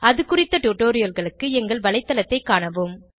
அது குறித்த டுடோரியல்களுக்கு எங்கள் வலைத்தளத்தைக் காணவும்